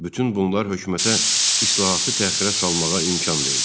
Bütün bunlar hökumətə islahatı təxirə salmağa imkan verdi.